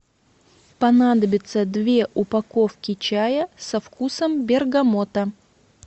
понадобится две упаковки чая со вкусом бергамота